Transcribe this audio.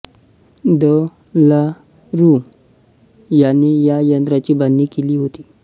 the La Rue याने या यंत्राची बांधणी केली होती